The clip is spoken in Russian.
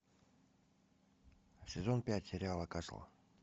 сезон пять сериала касл